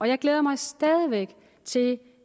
jeg glæder mig stadig væk til